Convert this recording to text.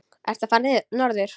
Ertu að fara norður?